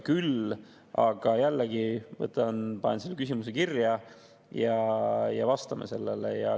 Küll aga panen jällegi selle küsimuse kirja ja vastame sellele.